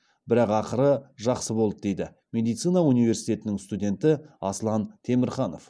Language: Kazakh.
бірақ ақыры жақсы болды дейді медицина университетінің студенті аслан темірханов